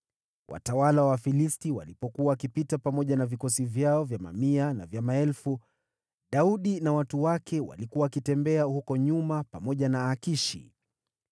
Watawala wa Wafilisti walipokuwa wakipita pamoja na vikosi vyao vya mamia na vya maelfu, Daudi na watu wake walikuwa wakitembea huko nyuma pamoja na Akishi.